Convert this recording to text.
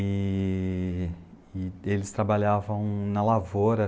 E... E eles trabalhavam na lavoura.